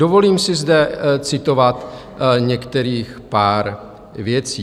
Dovolím si zde citovat některých pár věcí.